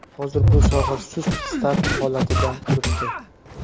Hozir bu soha sust start holatida turibdi.